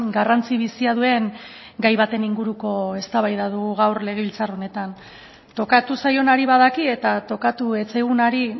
garrantzi bizia duen gai baten inguruko eztabaida dugu gaur legebiltzar honetan tokatu zaionari badaki eta tokatu ez zaigunari